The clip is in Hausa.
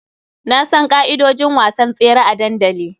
Na san ƙa'idojin wasan tsere a dandali.